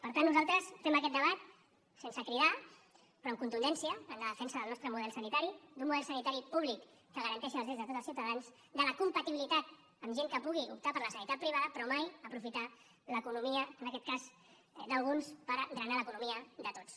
per tant nosaltres fem aquest debat sense cridar però amb contundència en la defensa del nostre model sanitari d’un model sanitari públic que garanteixi els drets de tots els ciutadans de la compatibilitat amb gent que pugui optar per la sanitat privada però mai aprofitar l’economia en aquest cas d’alguns per drenar l’economia de tots